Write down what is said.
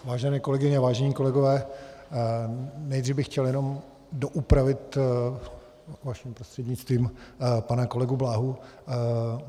Vážené kolegyně, vážení kolegové, nejdřív bych chtěl jenom doupravit vaším prostřednictvím pana kolegu Bláhu.